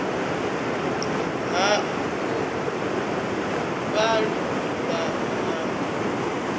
ha u vhalulula na u